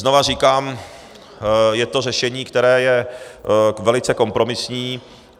Znovu říkám, je to řešení, které je velice kompromisní.